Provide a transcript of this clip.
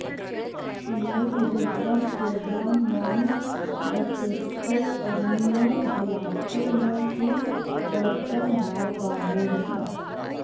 मेघदूतं केवलं मानवचेतसोः कमनीयो विलासो न तु दर्शनभारवाहोऽपि